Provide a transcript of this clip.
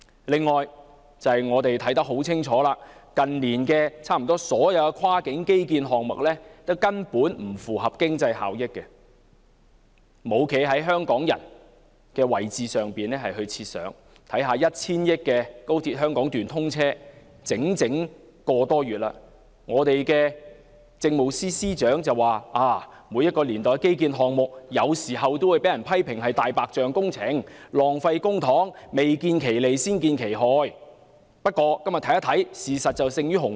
此外，我們清楚看到，近年差不多所有跨境基建項目也不符合經濟效益，當局並無從香港人的位置設想，花費近 1,000 億元的高鐵香港段已通車個多月，政務司司長曾說，每一年代的基建項目，有時也會被批評為"大白象"工程，浪費公帑，未見其利、先見其害，但今天回看，事實勝於雄辯。